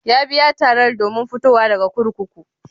Ya biya tarar domin fitowa daga kurkuku?